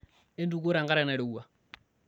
entuko tenkare nairowua?